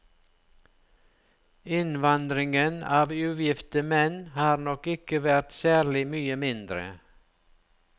Innvandringen av ugifte menn har nok ikke vært særlig mye mindre.